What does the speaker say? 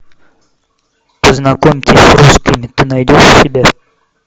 познакомьтесь с русскими ты найдешь у себя